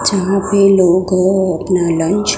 जहां पे लोग अपना लंच --